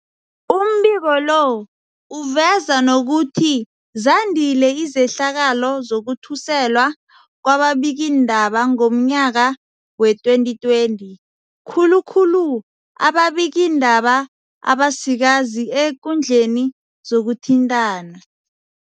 Umbiko lo uveza nokuthi zandile izehlakalo zokuthuselwa kwababikiindaba ngomnyaka wee-2020, khulu khulu ababikiindaba abasikazi eekundleni zokuthintana.